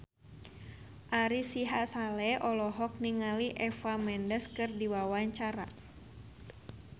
Ari Sihasale olohok ningali Eva Mendes keur diwawancara